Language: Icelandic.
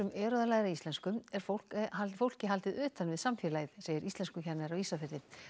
eru að læra íslensku er fólki haldið fólki haldið utan við samfélagið segir íslenskukennari á Ísafirði